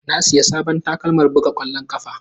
Na siya sabon takalma buga kwallon ƙafa.